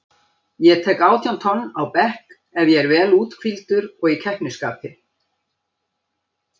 Ég tek átján tonn á bekk ef ég er vel úthvíldur og í keppnisskapi.